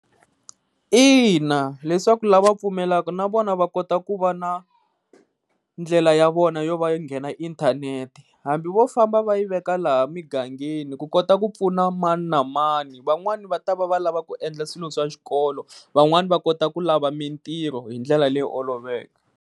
Ina, leswaku la va pfumelelaka na vona va kota ku va na ndlela ya vona yo va i nghena inthanete hambi wo famba va yi veka laha mugangeni ku kota ku pfuna mani na mani. Van'wani va ta va va lava ku endla swilo swa xikolo van'wani va kota ku lava mintirho hi ndlela leyi oloveke.